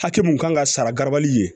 Hakɛ mun kan ka sara garabali ye